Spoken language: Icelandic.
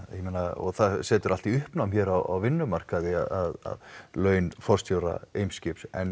ég meina og það setur allt í uppnám hér á vinnumarkaði að laun forstjóra Eimskips n